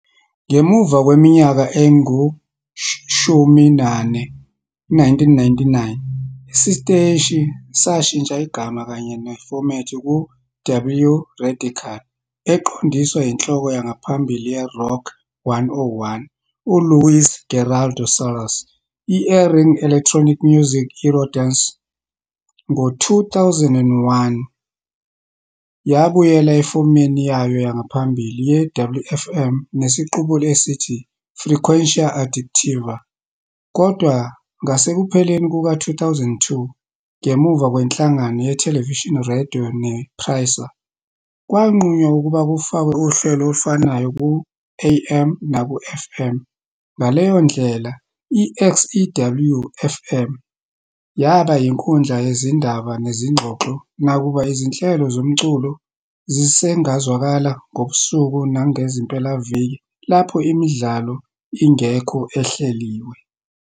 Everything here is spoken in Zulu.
Ngemva kweminyaka engushumi nane, ku-1999, isiteshi sashintsha igama kanye nefomethi ku- "W Radical", eqondiswa inhloko yangaphambili ye-"Rock 101", uLuis Gerardo Salas, i-airing electronic music and eurodance. Ngo-2001, yabuyela efomeni yayo yangaphambili ye-WFM nesiqubulo esithi "Frecuencia Adictiva", kodwa ngasekupheleni kuka-2002, ngemuva kwenhlangano yeTelevisa Radio nePRISA, kwanqunywa ukuba kufakwe uhlelo olufanayo ku-AM naku-FM, ngaleyo ndlela i-XEW-FM. yaba inkundla yezindaba nezingxoxo, nakuba izinhlelo zomculo zisengazwakala ngobusuku nangezimpelaviki lapho imidlalo ingekho ehleliwe.